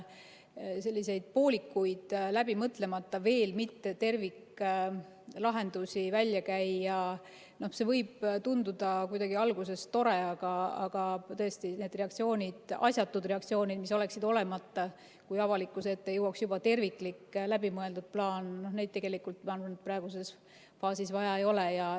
Selliseid poolikuid, läbimõtlemata, veel mitte terviklahendusi välja käia – see võib tunduda alguses kuidagi tore, aga tõesti, neid asjatuid reaktsioone, mis oleksid olemata, kui avalikkuse ette jõuaks juba terviklik ja läbimõeldud plaan, praeguses faasis vaja ei ole.